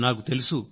నాకు తెలుసు